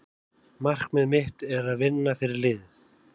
Markmið mitt er að vinna fyrir liðið.